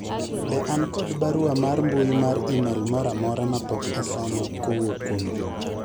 be an kod barua mar mbui mar email moro amora ma pok osom kowuok kuom Juma